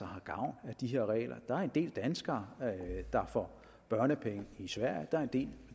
har gavn af de her regler der er en del danskere der får børnepenge i sverige der er en del